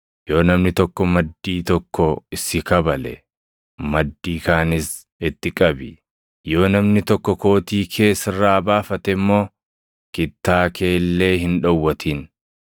Yoo namni tokko maddii tokko si kabale, maddii kaanis itti qabi. Yoo namni tokko kootii kee sirraa baafate immoo, kittaa kee illee hin dhowwatin.